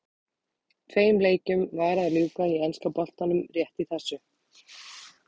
Tveim leikjum var að ljúka í enska boltanum rétt í þessu.